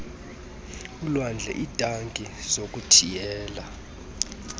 olwandle iitanki zokuthiyela